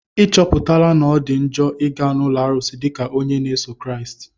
Ị chọpụtala na ọ dị njọ ịga n'ụlọ arụsị dịka onye na-eso Kraịst?